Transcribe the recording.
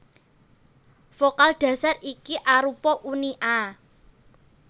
Vokal dhasar iki arupa uni a